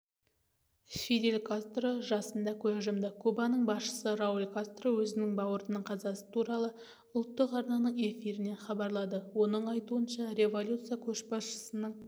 фидель кастро жасында көз жұмды кубаның басшысы рауль кастро өзінің бауырының қазасы туралы ұлттық арнаның эфирінен хабарлады оның айтуынша революция көшбасшысының